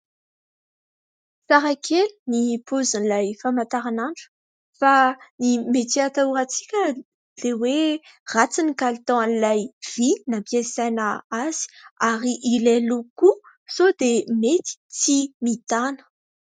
Tsara kely ny paozin'ilay famantaran'andro fa ny mety hatahorantsika dia hoe ratsy ny kalitaon'ilay vy nampiasaina azy ary ilay loko koa sao dia mety tsy mitana.